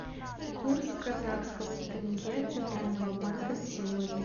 курс казахского тенге центрального банка на сегодня